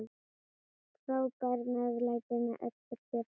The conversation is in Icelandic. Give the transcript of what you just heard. Frábært meðlæti með öllu kjöti.